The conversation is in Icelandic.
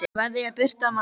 Kveðja, Birta María.